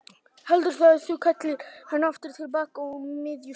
Heldurðu að þú kallir hann aftur til baka á miðju sumri?